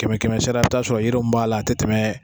Kɛmɛ kɛmɛ sira e be taa sɔrɔ yiri min b'a la a te tɛmɛ